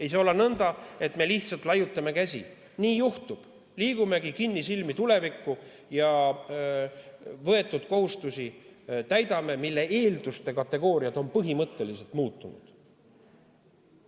Ei saa olla nõnda, et me lihtsalt laiutame käsi: nii juhtub, liigumegi kinnisilmi tulevikku ja täidame võetud kohustusi, mille eelduste kategooriad on põhimõtteliselt muutunud.